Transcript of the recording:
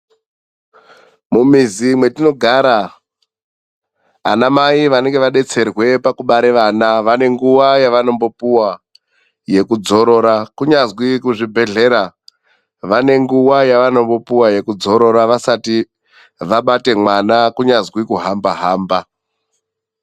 Mumizi mwetinogara, ana mai vanenge vadetserwa pakubara vana, vane nguwa yevanombopuwa yekudzorora. Kunyazwi kuzvibhedhlera vane nguwa yevanombopuwa yekudzorora vasati vabate mwana, kunyazwi kuhamba hamba.